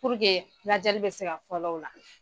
lajɛli bi se ka fɔlɔlɔ u la.